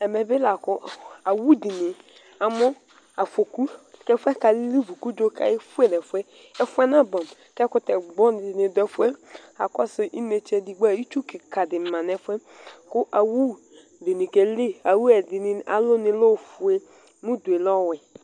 Ɛmɛ bi lakʋ awʋdini amʋ afɔkʋ kʋ ɛfʋ yɛ kalivu kʋ udzo kefue nʋ ɛfʋɛ Kʋ ɛfʋ yɛ nabʋɛamʋ, ɛkʋtɛ gbɔ dini dʋ ɛfʋ yɛ kʋ asɛ inetse edigbo itsu kika di manʋ ɛfʋ yɛ kʋ awʋ ɛdini keli alɔnʋ yɛ lɛ ofu mʋ ʋdʋ yɛ lɛ owɛ